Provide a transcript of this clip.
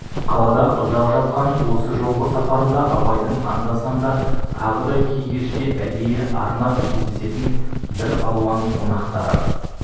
қалада ұзақ жатқан осы жолғы сапарында абайдың анда-санда тағы да кей кеште әдейі арнап кездесетін бір алуан қонақтары